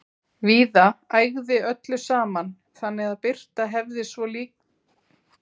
Víða ægði öllu saman, þannig að birta hefði svo sem líka dugað skammt.